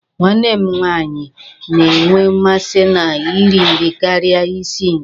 Nwanne m nwaanyị na-enwe mmasị na ị ri nri karịa ị si nri.